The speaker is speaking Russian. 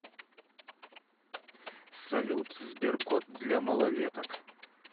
салют сберкот для малолеток